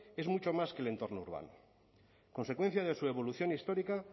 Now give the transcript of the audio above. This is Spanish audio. es mucho más que el entorno urbano consecuencia de su evolución histórica